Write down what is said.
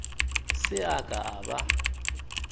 se a ka a ba